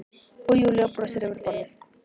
Og Júlía brosir yfir borðið til